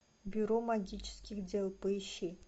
бюро магических дел поищи